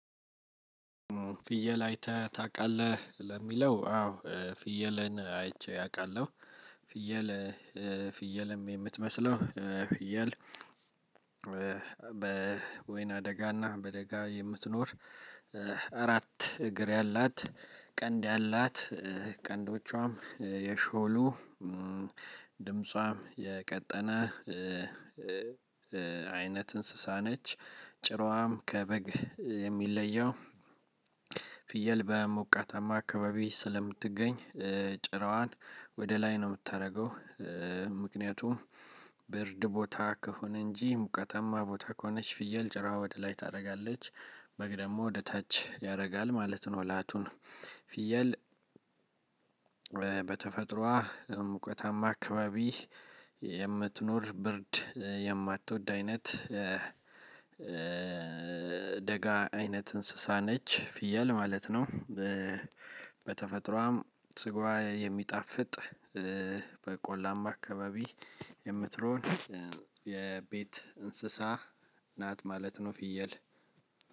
ፍየል አይተህ ታውቃለህ ለሚለው አዎ ፍየልን አይቼ አውቃለሁ። ፍየል ፍየልም የምትመስለው ፍየል። በወይና አደጋና በደጋ የምትኖር አራት እግር ያላት ቀንድ ያላት ቀንዶቿም የሾሉ ድምጿ የቀጠነ አይነት እንስሳ ነች። ጭሯም ከበግ የሚለየው ፍየል በሞቀትማ አካባቢ ስለምትገኝ ጭራዋን ወደ ላይ ነው የምታደርገው። ምክንያቱም ብርድ ቦታ ከሆነ እንጂ ሙቀተማ ቦታ ከሆነች ፍየል ጭራ ወደ ላይ ታደርጋለች በግ ደግሞ ወደ ታች ያደርጋል ማለት ነው። ላቱን ፍየል። በተፈጥሮዋ ሙቀታማ አካባቢ የምትኖር ብርድ የማትወድ አይነት ደጋ አይነት እንስሳ ነች ፍየል ማለት ነው። በተፈጥሮዋም ስጋዋ የሚጣፍጥ በቆላማ አካባቢ የምትኖር የቤት እንስሳ ናት ማለት ነው። ፍየል